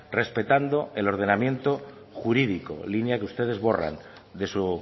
respetando el ordenamiento jurídico línea que ustedes borran de su